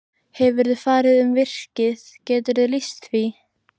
Hefurðu farið um virkið, geturðu lýst því?